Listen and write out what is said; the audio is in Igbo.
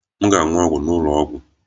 M ga-aṅụ ọgwụ m n'ụlọ ọgwụ